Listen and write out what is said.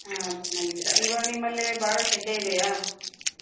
ಹಾ ಚೆನ್ನಾಗಿದ್ದೀರಾ ಇವಾಗ ನಿಮ್ಮಲ್ಲೇ ಭಾಳ ಶೆಕೆ ಇದೇಯಾ?